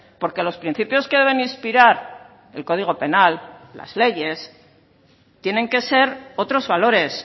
porque los principios que deben inspirar el código penal las leyes tienen que ser otros valores